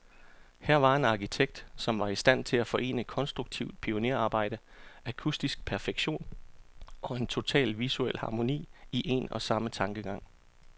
Her var en arkitekt, som var i stand til at forene konstruktivt pionerarbejde, akustisk perfektion, og en total visuel harmoni, i en og samme tankegang.